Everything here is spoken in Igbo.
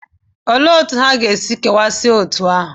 Olee otú ha ga-esi kewasịa otú ahụ?